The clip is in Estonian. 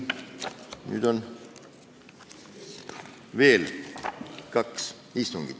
Nüüd on jäänud veel kaks istungit.